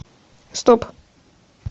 стоп